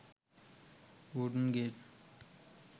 wooden gate